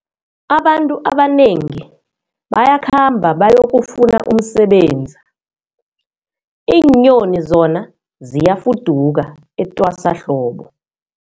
Abantu abanengi bayakhamba bayokufuna umsebenzi, iinyoni zona ziyafuduka etwasahlobo.